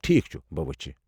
ٹھیكھ چُھ ، بہٕ وُچھِ ۔